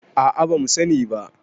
a a. ba mu sani ba